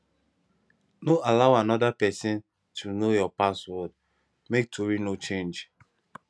no allow anoda pesin to know your password make tori no change